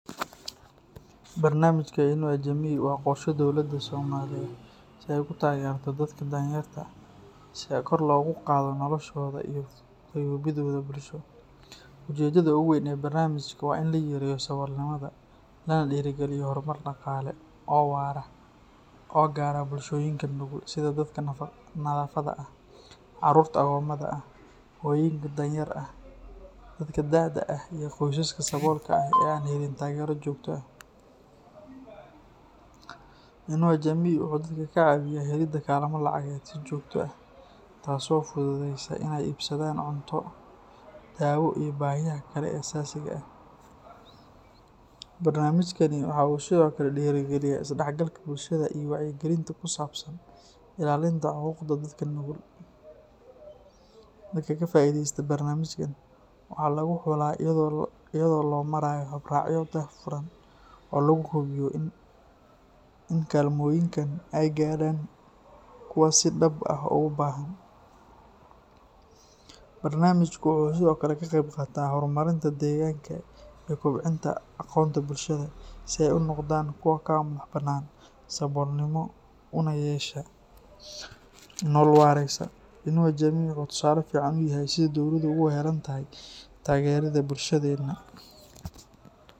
Barnamijka Inua Jamii waa qorshe dowladda Soomaaliya ay ku taageerto dadka danyarta ah si kor loogu qaado noloshooda iyo fayoobidooda bulsho. Ujeeddada ugu weyn ee barnamijkan waa in la yareeyo saboolnimada, lana dhiirrigeliyo horumar dhaqaale oo waara oo gaadha bulshooyinka nugul sida dadka naafada ah, caruurta agoomada ah, hooyooyinka danyar ah, dadka da’da ah, iyo qoysaska saboolka ah ee aan helin taageero joogto ah. Inua Jamii wuxuu dadka ka caawiyaa helidda kaalmo lacageed si joogto ah, taas oo u fududeysa inay iibsadaan cunto, daawo iyo baahiyaha kale ee aasaasiga ah. Barnamijkani waxa uu sidoo kale dhiirrigeliyaa isdhexgalka bulshada iyo wacyigelinta ku saabsan ilaalinta xuquuqda dadka nugul. Dadka ka faa’iideysta barnamijkan waxaa lagu xulaa iyada oo loo marayo habraacyo daahfuran oo lagu hubiyo in kaalmooyinka ay gaadhaan kuwa si dhab ah ugu baahan. Barnaamijku wuxuu sidoo kale ka qayb qaataa horumarinta deegaanka iyo kobcinta aqoonta bulshada si ay u noqdaan kuwo ka madax-bannaan saboolnimo una yeeshaan nolol waaraysa. Inua Jamii wuxuu tusaale fiican u yahay sida dowladdu ugu heelan tahay taageeridda bulshadeena.